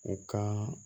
U ka